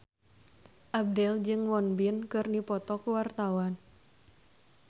Abdel jeung Won Bin keur dipoto ku wartawan